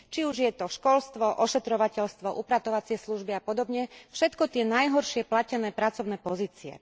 Či už je to školstvo, ošetrovateľstvo, upratovacie služby a podobne, všetko tie najhoršie platené pracovné pozície.